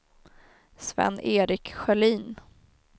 Sven-Erik Sjölin